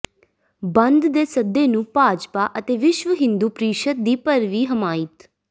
ਬੰਦ ਦੇ ਸੱਦੇ ਨੂੰ ਭਾਜਪਾ ਅਤੇ ਵਿਸ਼ਵ ਹਿੰਦੂ ਪ੍ਰੀਸ਼ਦ ਦੀ ਭਰਵੀਂ ਹਮਾਇਤ